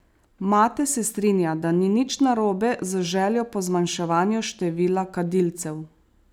Mate se strinja, da ni nič narobe z željo po zmanjševanju števila kadilcev.